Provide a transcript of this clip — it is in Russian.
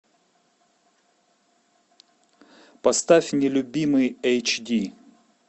поставь нелюбимый эйч ди